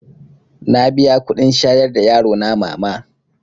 Na biya kuɗin shayar da yarona mama